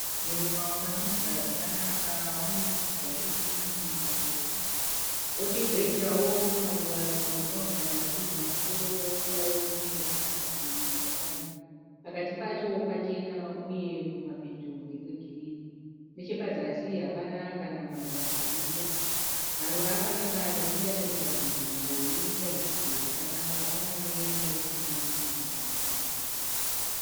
Muruva wakatumbuka zvakanaka unemashizha egirirni marefu, wo chizoita wo tumwe twumaruva twakawungana pamusoro poitwa wo turikumativi twakamira. Pakati pacho pachena uye kumapeto ndekwe girirni. Nechepazasi hapana kana maruva aripo .Maruva akanaka nekuti anoita nzvimbo itaridzike zvakanaka kunyangwe yanga isina kunaka zvakadi.